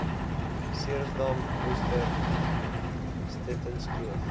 ceresdam worcester stettynskloof